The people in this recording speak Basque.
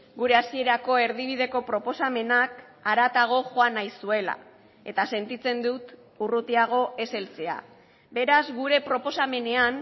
gure hasierako erdibideko proposamenak haratago joan nahi zuela eta sentitzen dut urrutiago ez heltzea beraz gure proposamenean